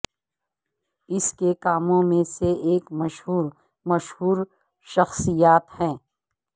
اس کے کاموں میں سے ایک مشہور مشہور شخصیات ہیں